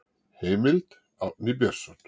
Heimild: Árni Björnsson.